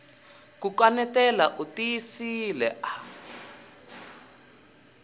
ku kaneta u tiyisile a